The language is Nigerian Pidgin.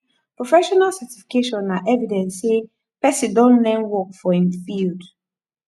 professional certification na evidence sey person don learn work for im field